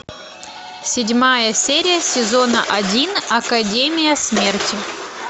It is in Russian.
седьмая серия сезона один академия смерти